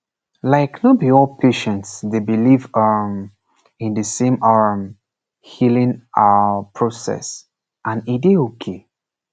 like no be all patients dey believe um in de same um healing ah process and e dey okay